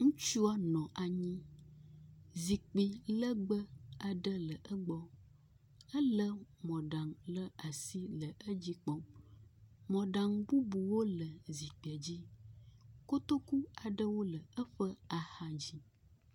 Ŋutsua nɔ anyi, zikpi legbe aɖe le egbɔ. Ele mɔɖaŋu ɖe asi le edzi kpɔm. Mɔɖaŋu bubuwó le zikpiadzi. Kotoku aɖewó le eƒe axadzi